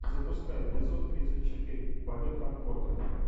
запускай эпизод тридцать четыре полет конкордов